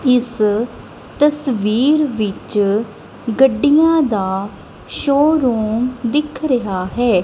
ਇਸ ਤਸਵੀਰ ਵਿੱਚ ਗੱਡੀਆਂ ਦਾ ਸ਼ੋਰੂਮ ਦਿਖ ਰਿਹਾ ਹੈ।